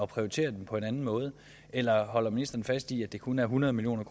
prioritere dem på en anden måde eller holder ministeren fast i at det kun er hundrede million